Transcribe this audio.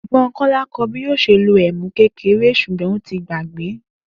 È̩gbó̩n Kó̩lá kó̩ o̩ bí yóò s̩e lo èmú kékeré s̩ùgbó̩n ó ti gbàgbé